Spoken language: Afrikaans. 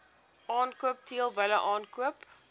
aankoop teelbulle aankoop